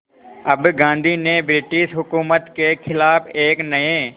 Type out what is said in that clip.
अब गांधी ने ब्रिटिश हुकूमत के ख़िलाफ़ एक नये